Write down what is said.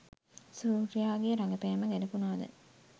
සූර්යාගේ රඟපෑම ගැළපුණාද?